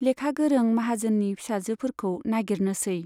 लेखा गोरों, माहाजोननि फिसाजोफोरखौ नागिरनोसै।